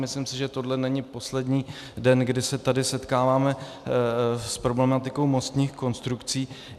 Myslím si, že tohle není poslední den, kdy se tady setkáváme s problematikou mostních konstrukcí.